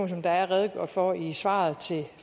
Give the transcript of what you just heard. som der er redegjort for i svaret til